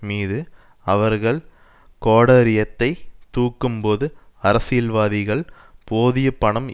மீதும் அவர்கள் கோடரியத்தை தூக்கும் போது அரசியல்வாதிகள் போதிய பணம்